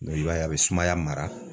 i b'a ye a bɛ sumaya mara